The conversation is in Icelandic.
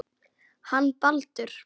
Hann Baldur.